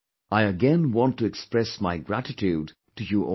I again want to express my gratitude to you all